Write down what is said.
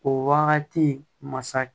O wagati masa